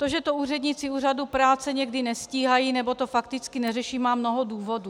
To, že to úředníci úřadů práce někdy nestíhají nebo to fakticky neřeší, má mnoho důvodů.